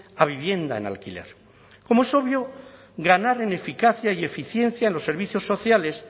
a vivienda en alquiler como es obvio ganar en eficacia y eficiencia en los servicios sociales